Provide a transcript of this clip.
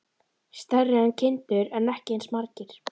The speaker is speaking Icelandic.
Stærri en kindur en ekki eins margir.